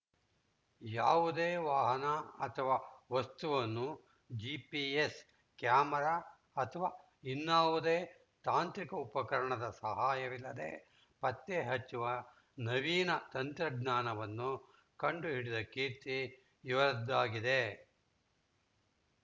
ಯಾವುದೇ ವಾಹನ ಅಥವಾ ವಸ್ತುವನ್ನು ಜಿಪಿಎಸ್‌ ಕ್ಯಾಮೆರಾ ಅಥವಾ ಇನ್ನಾವುದೇ ತಾಂತ್ರಿಕ ಉಪಕರಣದ ಸಹಾಯವಿಲ್ಲದೇ ಪತ್ತೆ ಹಚ್ಚುವ ನವೀನ ತಂತ್ರಜ್ಞಾನವನ್ನು ಕಂಡುಹಿಡಿದ ಕೀರ್ತಿ ಇವರದ್ದಾಗಿದೆ